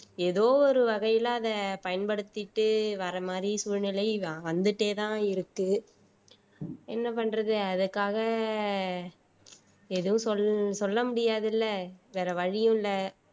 ஏதோ ஒரு வகையில அத பயன்படுத்திட்டு வர மாதிரி சூழ்நிலை வந்துட்டேதான் இருக்கு என்ன பண்றது அதுக்காக எதுவும் சொல் சொல்ல முடியாது இல்ல வேற வழியும் இல்ல